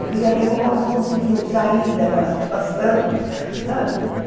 Eu queria ver como elas conseguiam sair daquela situação, sabe?